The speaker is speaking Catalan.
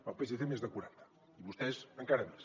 el psc més de quaranta i vostès encara més